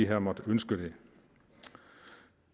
havde måttet ønske det